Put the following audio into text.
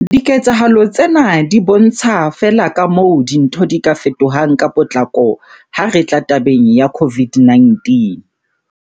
Diketsahalo tsena di bontsha feela kamoo dintho di ka fetohang ka potlako ha re tla tabeng ya COVID-19.